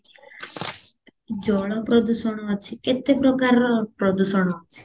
ଜଳ ପ୍ରଦୂଷଣ ଅଛି କେତେ ପ୍ରକାରର ପ୍ରଦୂଷଣ ଅଛି